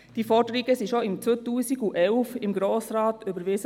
Diese Forderungen wurden bereits 2011 im Grossen Rat überwiesen.